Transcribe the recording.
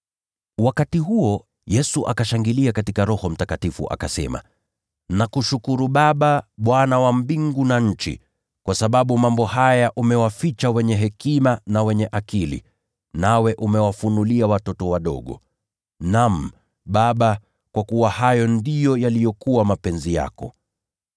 Wakati huo Yesu akashangilia katika Roho Mtakatifu, akasema, “Nakuhimidi Baba, Bwana wa mbingu na nchi, kwa kuwa umewaficha mambo haya wenye hekima na wenye elimu, nawe ukawafunulia watoto wadogo. Naam, Baba, kwa kuwa hivyo ndivyo ilivyokupendeza.